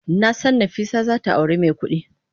Nasan Nafisa zata auri mai kudi.